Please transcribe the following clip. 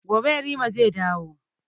Gobe yarima zai dawo